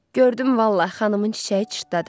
Gördüm, vallah, xanımın çiçəyi çırtladı.